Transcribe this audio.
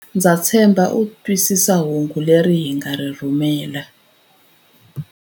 Ndza tshemba u twisisa hungu leri hi nga ri rhumela.